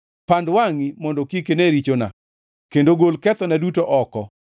Pand wangʼi mondo kik ine richona kendo gol kethona duto oko.